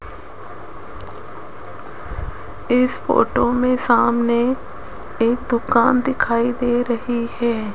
इस फोटो में सामने एक दुकान दिखाई दे रही है।